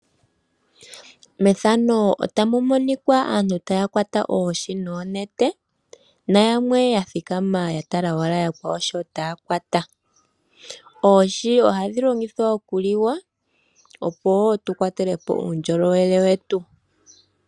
Methano otamu monikwa aantu taya kwata oohi noonete nayamwe yathikama yatala wala yakwawo shootaakwata. Oohi ohadhi longithwa oku liwa opo tukwatele po uundjolowele wetu.